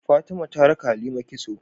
Fatima ta raka halima kitso